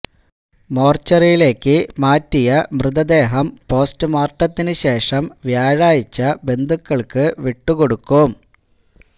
മോര്ച്ചറിയിലേക്ക് മാറ്റിയ മൃതദേഹം പോസ്റ്റ് മോര്ട്ടത്തിന് ശേഷം വ്യാഴാഴ്ച ബന്ധുക്കള്ക്ക് വിട്ടുകൊടുക്കും